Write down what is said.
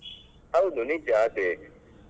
ಹೌದು ನಿಜ ಅದೇ.